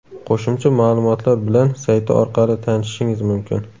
Qo‘shimcha ma’lumotlar bilan sayti orqali tanishishingiz mumkin.